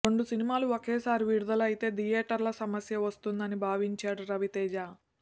రెండు సినిమాలు ఒకేసారి విడుదల అయితే థియేటర్ల సమస్య వస్తుందని భావించాడు రవితేజ